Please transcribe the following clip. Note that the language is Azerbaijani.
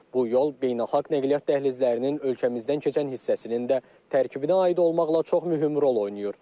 Bu yol beynəlxalq nəqliyyat dəhlizlərinin ölkəmizdən keçən hissəsinin də tərkibinə aid olmaqla çox mühüm rol oynayır.